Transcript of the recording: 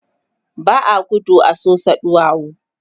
ba a gudu a Sosa ɗuwawu